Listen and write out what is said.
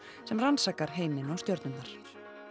sem rannsakar heiminn og stjörnurnar